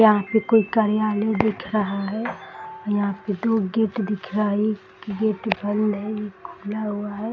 यहाँ पे कोई कार्यालय दिख रहा है और यहाँ पे दो गेट दिख रहा है | एक गेट बंद है एक खुला हुआ है ।